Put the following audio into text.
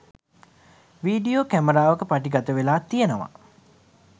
video කැමරාවක පටිගත වෙලා තියෙනවා